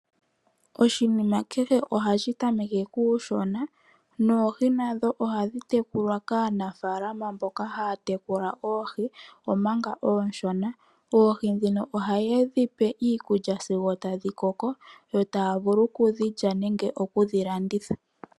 Oshinima kehe ohashi tameke kuushona. Noohi nadho ohadhi tekulwa kaanafaalama mboka haya tekula oohi omanga oonshona. Oohi ndhino ohaye dhi pe iikulya sigo tadhi koko, yo taya vulu okudhi lya nenge okudhi landitha.